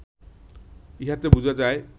ইহাতে বুঝা যায়